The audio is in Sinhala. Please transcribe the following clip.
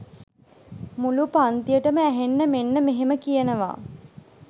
මුලු පන්තියටම ඇහෙන්න මෙන්න මෙහෙම කියනවා